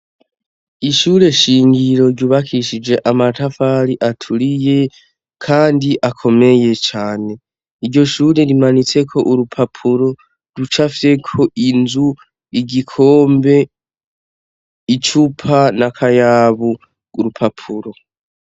Ishure shingiro ryubakishije amatafari aturiye, kandi akomeye cane iryo shure rimanitseko urupapuro ruca afyeko inzu igikombe icupa na kayabu urupapuro.